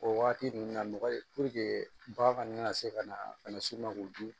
O waati ninnu na mɔgɔ bagan se ka na bana si ma k'o dun